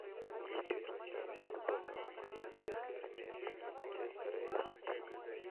включи трансляцию футбольного матча английской премьер лиги манчестера и сити